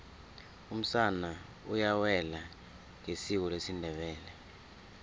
umsana uyawela ngesiko lesindebele